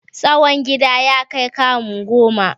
Tsawon gidan ya kai kamu goma.